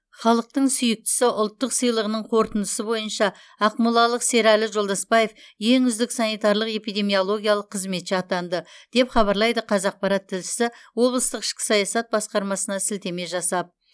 халықтың сүйіктісі ұлттық сыйлығының қорытындысы бойынша ақмолалық серәлі жолдаспаев ең үздік санитарлық эпидемиологиялық қызметші атанды деп хабарлайды қазақпарат тілшісі облыстық ішкі саясат басқармасына сілтеме жасап